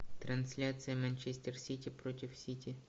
трансляция манчестер сити против сити